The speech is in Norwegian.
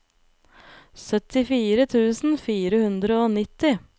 syttifire tusen fire hundre og nitti